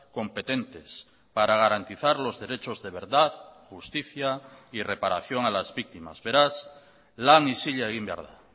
competentes para garantizar los derechos de verdad justicia y reparación a las víctimas beraz lan isila egin behar da